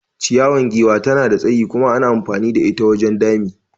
Ciyawan giwa tana da tsayi kuma ana amfani da ita wajen dami.